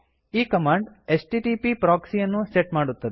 ಈ command HTTP proxy ಯನ್ನು set ಮಾಡುತ್ತದೆ